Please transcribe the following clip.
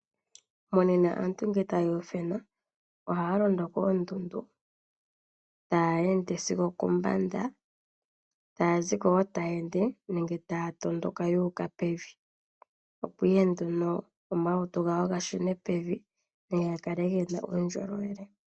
Monena aantu ngele taya idhewula ohaya londo koondundu, taya ende sigo okombanda, taya ziko wo taya ende, nenge taya tondoka yu uka pevi, opo ihe nduno omalutu gawo ga shune pevi nenge ga kale gena uundjolowele.